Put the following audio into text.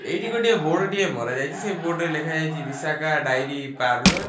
ଏଇଠି ଗୋଟିଏ ବୋର୍ଡ଼ ଟିଏ ମରାଯାଇଚି ସେଇ ବୋର୍ଡ଼ ରେ ଲେଖାଯାଇଚି ଭିଶାଖା ଡାୟେରି ପାର୍ଲର ।